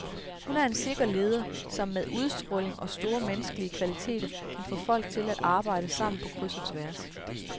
Hun er en sikker leder, som med udstråling og store menneskelige kvaliteter kan få folk til at arbejde sammen på kryds og tværs.